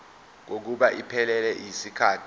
kokuba iphelele yisikhathi